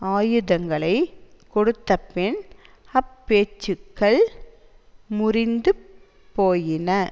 ஆயுதங்களை கொடுத்த பின் அப்பேச்சுக்கள் முறிந்து போயின